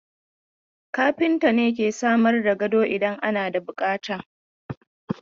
Kafinta ne ke samar da gado idan ana da bukata.